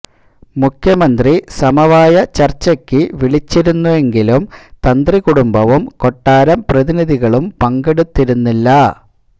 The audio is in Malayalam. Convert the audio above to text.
മുഖ്യമന്ത്രി സമവായ ചര്ച്ചക്ക് വിളിച്ചിരുന്നെങ്കിലും തന്ത്രി കുടുംബവും കൊട്ടാരം പ്രതിനിധികളും പങ്കെടുത്തിരുന്നില്ല